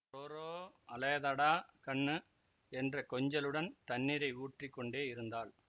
ரோரோஅழதேடா கண்ணு என்ற கொஞ்சலுடன் தண்ணீரை ஊற்றிக்கொண்டே இருந்தாள்